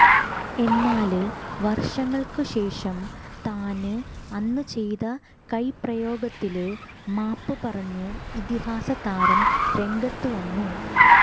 എന്നാല് വര്ഷങ്ങള്ക്ക് ശേഷം താന് അന്ന് ചെയ്ത കൈപ്രയോഗത്തില് മാപ്പ് പറഞ്ഞ് ഇതിഹാസതാരം രംഗത്ത് വന്നു